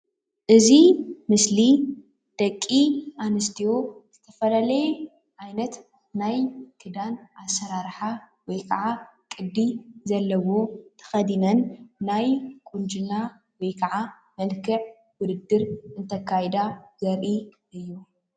እዚ ምስሊ ደቂኣንስትዮ ዝተፈላለየ ዓይነት ናይ ክዳን ኣሰራረሓ ወይ ከዓ ቅዲ ዘለዎ ተኸዲነን ናይ ቁንጂና ወይ ከዓ መልከዕ ውድድር እንተካይዳ ዘርእይ እዩ።